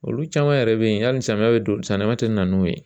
Olu caman yɛrɛ bɛ yen hali samiyɛ be don samiyɛ tɛ na n'u ye